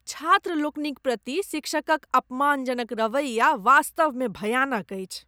छात्र लोकनि क प्रति शिक्षकक अपमानजनक रवैया वास्तवमे भयानक अछि।